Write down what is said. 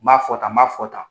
N b'a fɔ tan ma fɔ tan.